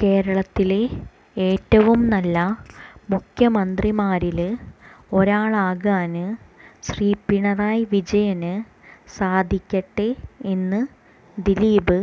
കേരളത്തിലെ ഏറ്റവും നല്ല മുഖ്യമന്ത്രിമാരില് ഒരാളാകാന് ശ്രീ പിണറായി വിജയന് സാധിക്കട്ടെ എന്ന് ദിലീപ്